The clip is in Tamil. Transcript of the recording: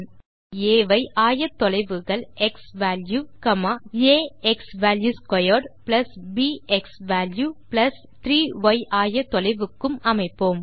புள்ளி ஆ ஐ ஆயத்தொலைவுகள் க்ஸ்வால்யூ ஆ xValue2 ப் க்ஸ்வால்யூ 3 ய் ஆயத்தொலைவுக்கும் அமைப்போம்